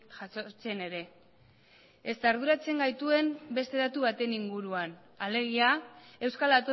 jasotzen ere ezta arduratzen gaituen beste datu baten inguruan alegia euskal